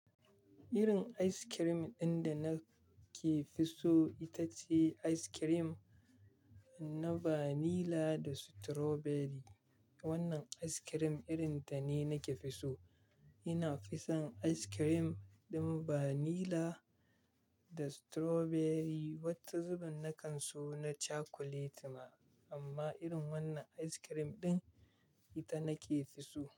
Irin ice cream ɗin da nake fi so ita ce ice cream na vanilla da strawberry. Wannan ice cream irin ta ne nake fi so. Ina fison ice cream ɗin vanilla da strawberry. Wata zuɓun na kan so na chocolate ma, amma irin wannan ice cream ɗin ita nake fi so.